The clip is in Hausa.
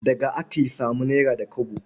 Daga aka samu nera da kwabo.